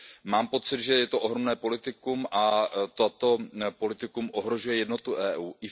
Mám pocit, že je to ohromné politikum a toto politikum ohrožuje jednotu EU.